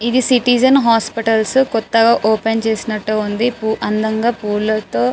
ఇది Citizen Hospitals కొత్తగా open చేసినట్టు ఉంది అందంగా పూలతో --